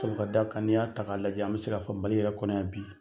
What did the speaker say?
Sabu ka d'a kan ni y'a ta k'a lajɛ an bɛ se k'a fɔ Mali yɛrɛ kɔnɔ yan bi.